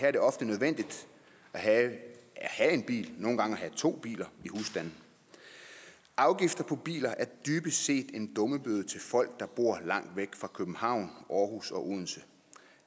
er det ofte nødvendigt at have en bil og nogle gange at have to biler i husstanden afgifter på biler er dybest set en dummebøde til folk der bor langt væk fra københavn aarhus og odense